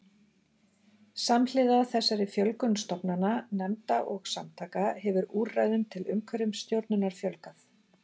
Samhliða þessari fjölgun stofnana, nefnda og samtaka hefur úrræðum til umhverfisstjórnunar fjölgað.